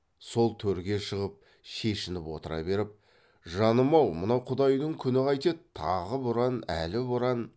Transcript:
сол төрге шығып шешініп отыра беріп жаным ау мына құдайдың күні қайтеді тағы боран әлі боран